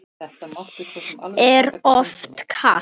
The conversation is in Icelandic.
Er of kalt.